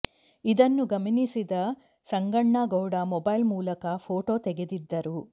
ಇದನ್ನು ಗಮನಿಸಿದ ಸಂಗಣ್ಣ ಗೌಡ ಮೊಬೈಲ್ ಮೂಲಕ ಫೋಟೊ ತೆಗೆದಿದ್ದರು